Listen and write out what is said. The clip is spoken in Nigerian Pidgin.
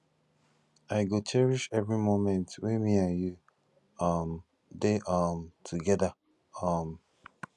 i go cherish every moment wey me and you um dey um together um